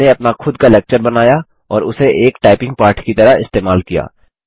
हमने अपना खुद का लेक्चर बनाया और उसे एक टाइपिंग पाठ की तरह इस्तेमाल किया